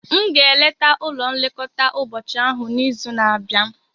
M ga-eleta ụlọ nlekọta ụbọchị ahụ n'izu na-abịa.